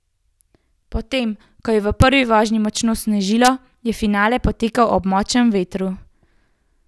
Potem, ko je v prvi vožnji močno snežilo, je finale potekal ob močnem vetru.